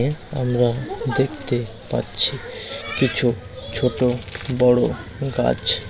আমরা দেখতে পাচ্ছি কিছু ছোট বড় গাছ--